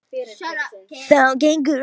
Þá gengur það eins og í sögu.